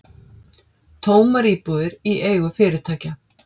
Tómar íbúðir í eigu fyrirtækja